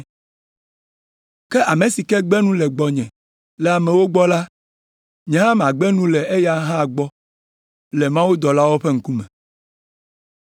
Ke ame si ke gbe nu le gbɔnye le amewo gbɔ la, nye hã magbe nu la eya hã gbɔ le mawudɔlawo ƒe ŋkume.